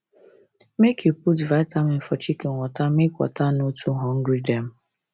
make you put vitamin for chicken water make water no too hungry dem